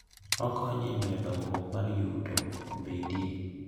Okonyo e miyo dongruok mar yuto obedie.